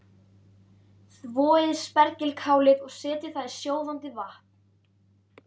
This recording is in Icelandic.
Þvoið spergilkálið og setjið það í sjóðandi vatn.